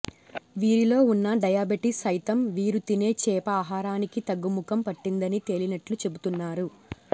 వీరిలో వున్న డయాబెటీస్ సైతం వీరు తినే చేప ఆహారానికి తగ్గుముఖం పట్టిందని తేలినట్లు చెపుతున్నారు